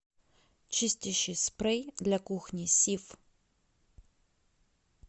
чистящий спрей для кухни сиф